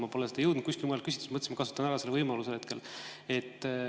Ma pole seda jõudnud kuskilt mujalt küsida ja mõtlesin, et kasutan hetkel ära selle võimaluse.